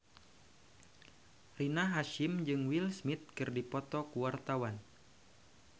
Rina Hasyim jeung Will Smith keur dipoto ku wartawan